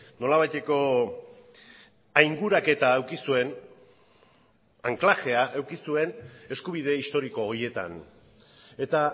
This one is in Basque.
nolabaiteko ainguraketa eduki zuen anklajea eduki zuen eskubide historiko horietan eta